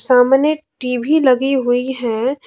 सामने टी_वी लगी हुई है।